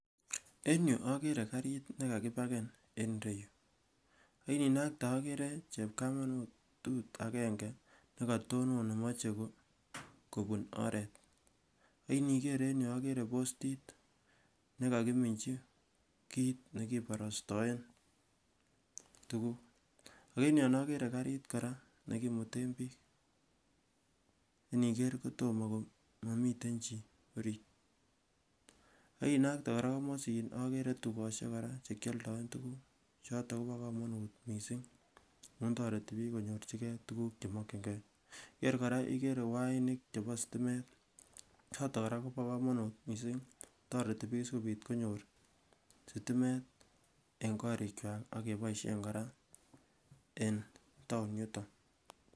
En yuu okeree karit nekakibaken en ireyuu, akindinaktee okeree chepkamatut akeng'e nekatonon nemoche kobuun oreet, akinikeer en yuu okeree postit nekokiminchi kiit nekiborostoen tukuk, ak en yoon okeree kariit kora nekimuten biik, neniker kotomoo komomiten chii oriit, akinaktee kora komosin okeree tukoshek kora chekioldoen tukuk choton kobokomonut mising amun toreti biik konyorchikee tukuk chemokying'ee, inikeer kora ikeree wainik cheboo sitimet choton kora koboo komonut mising, toreti biik sikobit konyor sitimet en korikwak ak keboishen kora en taon yuton.